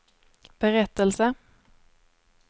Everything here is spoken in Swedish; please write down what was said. berättelse